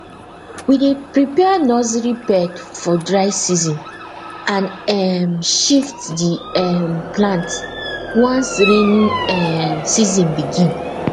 we dey prepare nursery bed for dry season and um shift the um plant once rainy um season begin